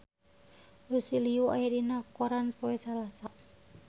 Lucy Liu aya dina koran poe Salasa